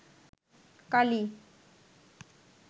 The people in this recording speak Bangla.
কালি